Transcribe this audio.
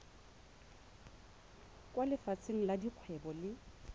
kwa lefapheng la dikgwebo le